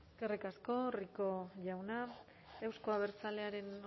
eskerrik asko rico jauna euzko abertzalearen